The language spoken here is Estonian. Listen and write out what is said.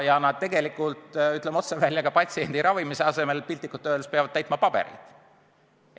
Ja nad tegelikult, ütleme otse välja, patsiendi ravimise asemel piltlikult öeldes peavad täitma paberit.